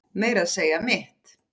Meira að segja mitt